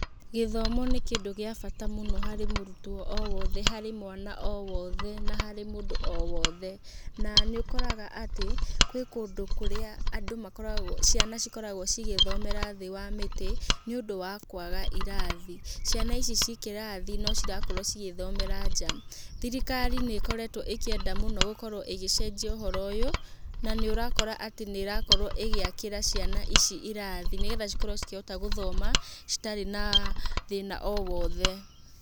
Gĩthomo nĩ kĩndũ gĩa bata mũno harĩ mũrutwo o wothe, harĩ mwana o wothe na harĩ mũndũ o wothe na nĩ ũkoraga atĩ gwĩ kũndũ kũrĩa andũ makoragwo, ciana cikoragwo cigĩthomera thĩ wa mĩtĩ, nĩ ũndũ wa kwaga irathi. Ciana ici ciĩ kĩrathi no cirakorwo cigĩthomera nja. Thirikari nĩ ĩkoretwo ĩkĩenda mũno gũkorwo ĩgĩcenjia ũhoro ũyũ, na nĩ ũrakora atĩ nĩ ĩrakorwo ĩgĩakĩra ciana ici irathi nĩgetha cikorwo cikĩhota gũthoma citarĩ na thĩna o wothe.